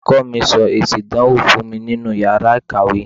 Olùkọ́ mi sọ èsì ìdánwò fún mi nínú iyàrá ìkàwé.